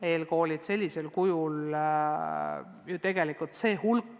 Eelkoolid sellisel kujul ju tegelikult tööd ei jätka.